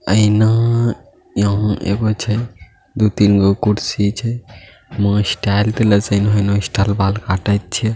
आईना यहाँ एगो छै दू तिन गो कुर्सी छै बाल कटाई छै |